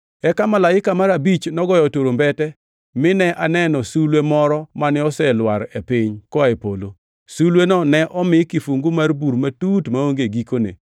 Eka malaika mar abich nogoyo turumbete, mine aneno sulwe moro mane oselwar e piny koa e polo. Sulweno ne omi kifungu mar bur matut maonge gikone.